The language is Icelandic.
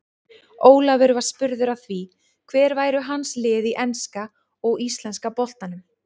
Ólafur var spurður að því hver væru hans lið í enska og íslenska boltanum.